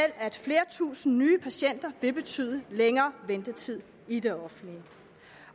at flere tusinde nye patienter vil betyde længere ventetid i det offentlige